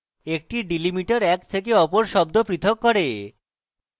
একটি delimiter এক থেকে অপর শব্দ পৃথক করে